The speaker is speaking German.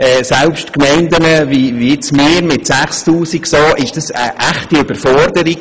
Selbst für Gemeinden wie unsere mit 6000 Einwohnern ist das eine echte Überforderung.